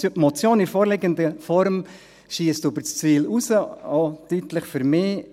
Die Motion in der vorliegenden Form schiesst über das Ziel hinaus, deutlich, auch für mich.